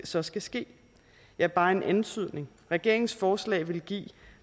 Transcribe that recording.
så skal ske ja bare en antydning regeringens forslag ville give